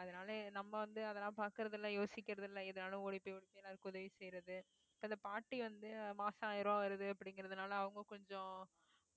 அதனாலயே நம்ம வந்து அதெல்லாம் பார்க்கிறது இல்ல யோசிக்கிறது இல்லை எதுனாலும் ஓடிப்போய் வந்து எல்லாருக்கும் உதவி செய்யிறது அந்த பாட்டி வந்து மாசம் ஆயிரம் ரூபாய் வருது அப்படிங்கிறதுனால அவங்க கொஞ்சம்